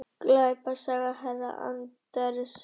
Glæpasaga herra Anders Ax